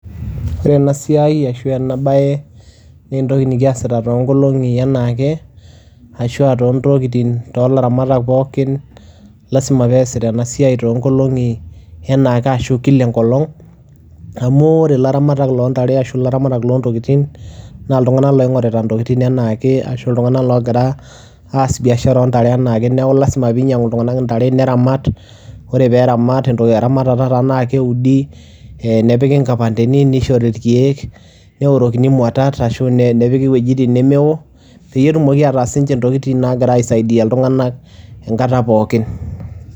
Ore ena siai ashu ena baye nee entoki nekiasita too nkoong'i enaa ake ashu aa too ntokitin too laramatak pookin lazima peesita ena siai too nkolong'i enaa ake ashu kila enkolong', amu ore ilaramatak loo ntare ashu iaramatak loo intokitin naa iltung'anak loing'orita intokitin enaa ake ashu iltung'anak loogira aas biashara oo ntare enaa ake, neeku lazima piinyang'u iltung'anak intare neramat. Ore peeramat eramatata naake eeudi, ee nepiki inkipandeni nishori irkeek, neorokini imuatat ashu nepiki iwojitin nemewo peyie etumoki ataa sininche intokitin naagira aisaidia iltung'anak enkata pookin.